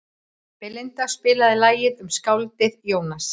Belinda, spilaðu lagið „Um skáldið Jónas“.